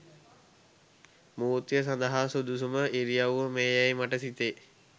මූර්තිය සදහා සුදුසුම ඉරියව්ව මේ යැයි මට සිතේ